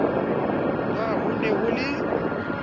na ho ne ho le